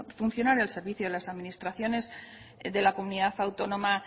funcionario al servicio de las administraciones de la comunidad autónoma